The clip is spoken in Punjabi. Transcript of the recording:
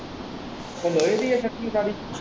ਇਹ ਲੋਹੇ ਦੀ ਏ ਸਟਰਿੰਗ ਸਾਰੀ ।